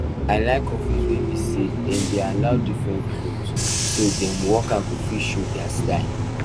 i like office wey be say dem dey allow different clothes so dem workers go fit show their style